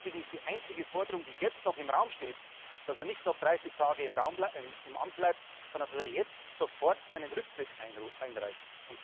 Deswegen ist die einzige Forderung, die jetzt noch im Raum steht, dass er nicht noch 30 Tage im Amt bleibt, sondern dass er jetzt sofort seinen Rücktritt einreicht.